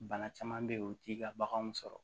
Bana caman bɛ yen o t'i ka baganw sɔrɔ